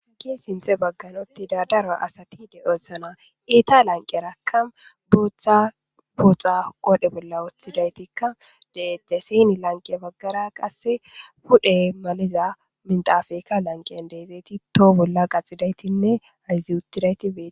haki sinthe bagganoti daadara asati de oossana iita lanqe raka booththa booxa qodhe bolla woththidaytikka de7ette sieni lanqe baggara qasse pudhe maliza mintafayika lanqiyan deezeyti toho bolla qaxidaytinne ayzi utidaytibee